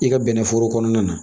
I ka bɛnɛforo kɔnɔna na